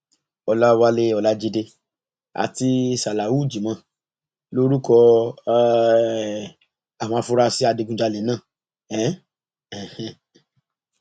ọlàwálẹ ọlajide àti salawu jimoh lorúkọ um àwọn afurasí adigunjalè náà um